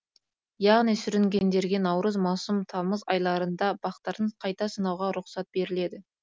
яғни сүрінгендерге наурыз маусым тамыз айларында бақтарын қайта сынауға рұқсат беріледі